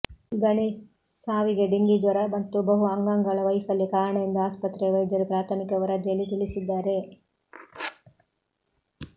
ಗಣೇಶ್ ಸಾವಿಗೆ ಡೆಂಗಿ ಜ್ವರ ಮತ್ತು ಬಹು ಅಂಗಾಂಗಳ ವೈಫಲ್ಯ ಕಾರಣ ಎಂದು ಆಸ್ಪತ್ರೆಯ ವೈದ್ಯರು ಪ್ರಾಥಮಿಕ ವರದಿಯಲ್ಲಿ ತಿಳಿಸಿದ್ದಾರೆ